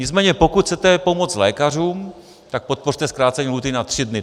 Nicméně pokud chcete pomoci lékařům, tak podpořte zkrácení lhůty na 3 dny.